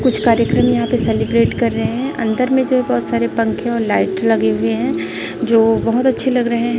कुछ कार्यक्रम यहाँ पर सेलिब्रेट कर रहे है अंदर में जो बहुत सारे पंखे और लाइट लगे हुए है जो बहुत अच्छे लग रहे हैं।